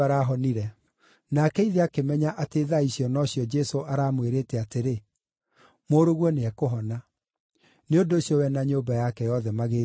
Nake ithe akĩmenya atĩ thaa icio nocio Jesũ aramwĩrĩte atĩrĩ, “Mũrũguo nĩekũhona.” Nĩ ũndũ ũcio we na nyũmba yake yothe magĩĩtĩkia.